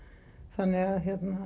þannig að